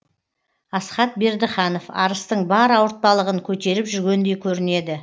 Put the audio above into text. асхат бердіханов арыстың бар ауыртпалығын көтеріп жүргендей көрінеді